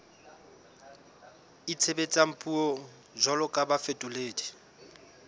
itshebetsang puong jwalo ka bafetoledi